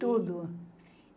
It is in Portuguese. Tudo.